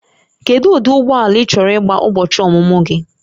Kedu ụdị ụgbọ ala ị chọrọ maka ụbọchị ọmụmụ gị?